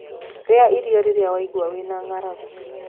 rĩa irio rirĩa waigua wĩna ng'aragu